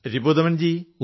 Ripudaman G